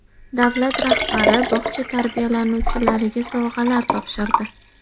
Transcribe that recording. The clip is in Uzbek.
Davlat rahbari bog‘cha tarbiyalanuvchilariga sovg‘alar topshirdi.